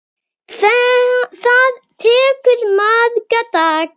Það tekur marga daga!